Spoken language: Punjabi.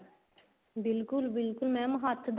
ਬਿਲਕੁਲ ਬਿਲਕੁਲ mam ਹੱਥ ਦਾ